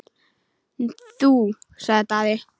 Þú, sagði Daði.